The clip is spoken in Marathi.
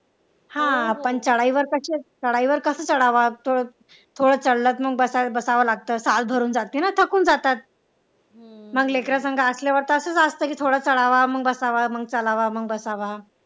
हा पण चढाईवर चढाईवर कसं चढावं थोडं चाललं तर मग बसावं लागतं साल भरून जाते ना मग तो थकून जातात मग लेकरं संग असल्यावर तसं असतं की थोडं चढावा मग बसावा मग चढावा मग बसावा